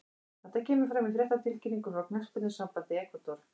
Þetta kemur fram í fréttatilkynningu frá knattspyrnusambandi Ekvador.